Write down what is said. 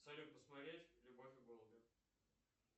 салют посмотреть любовь и голуби